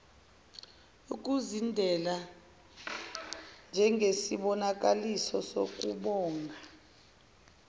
ukuzidela njengesibonakaliso sokubonga